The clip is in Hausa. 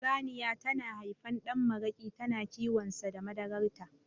Saniya ta na haifan ɗan maraƙi tana kiwonsa da madarar ta